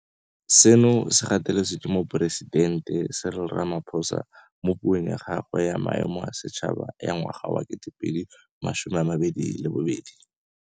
Seno se gateletswe ke Moporesidente Cyril Ramaphosa mo Puong ya gagwe ya Maemo a Setšhaba ya ngwaga wa 2022.